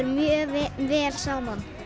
mjög vel saman